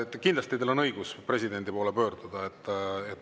Kindlasti on teil õigus presidendi poole pöörduda.